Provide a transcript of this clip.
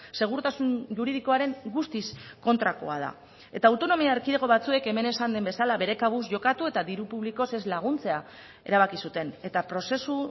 segurtasun juridikoaren guztiz kontrakoa da eta autonomia erkidego batzuek hemen esan den bezala bere kabuz jokatu eta diru publikoz ez laguntzea erabaki zuten eta prozesu